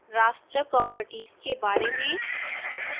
raster properties के बारे में